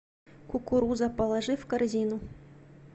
кукуруза положи в корзину